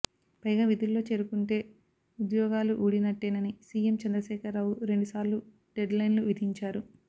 పైగా విధుల్లో చేరకుంటే ఉద్యోగాలు ఊడినట్టేనని సీఎం చంద్రశేఖర్ రావు రెండుసార్లు డెడ్లైన్లు విధించారు